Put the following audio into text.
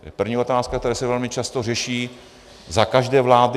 To je první otázka, která se velmi často řeší za každé vlády.